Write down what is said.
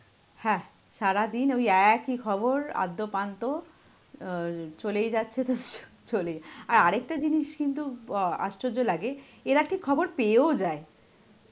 হ্যাঁ সারাদিন ওই একই খবর, আদ্যোপান্ত এর চলেই যাচ্ছে তো চ~ চলেই~, আর আর একটা জিনিস কিন্তু অ্যাঁ আশ্চর্য লাগে, এরা ঠিক খবর পেয়েও যায়.